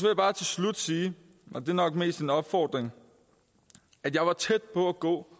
jeg bare til slut sige og det er nok mest en opfordring at jeg var tæt på at gå